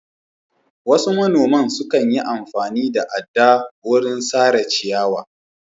Wasu monaman sukan yi amfani da adda wurin sare ciyawa.